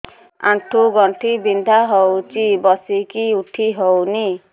ଆଣ୍ଠୁ ଗଣ୍ଠି ବିନ୍ଧା ହଉଚି ବସିକି ଉଠି ହଉନି